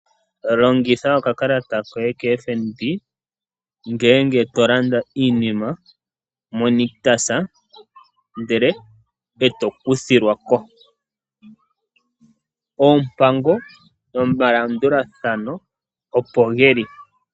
Longitha okakalata koye koFNB ngele to landa iinima moNictus, ndele e to kuthilwa ko. Oompango nomalandulathano opo ge li.